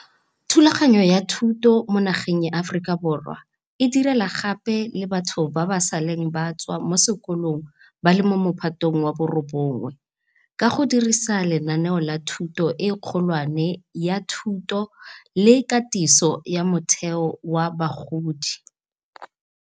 Thulaganyo ya thuto mo nageng ya Aforika Borwa e direla gape le batho ba ba seleng ba tswa mo sekolong ba le mo Mophatong wa bo 9, ka go dirisa lenaane la Thuto e Kgolwane la Thuto le Katiso ya Motheo ya Bagodi.